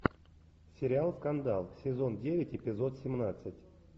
сериал скандал сезон девять эпизод семнадцать